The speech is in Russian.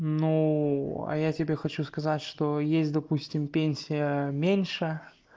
ну а я тебе хочу сказать что есть допустим пенсия меньше